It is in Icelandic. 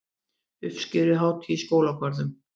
Uppskeruhátíð í skólagörðum